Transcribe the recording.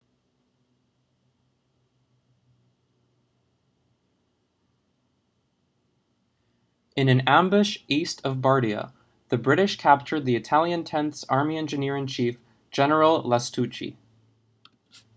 in an ambush east of bardia the british captured the italian tenth army's engineer-in-chief general lastucci